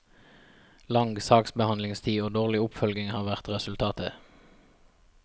Lang saksbehandlingstid og dårlig oppfølging har vært resultatet.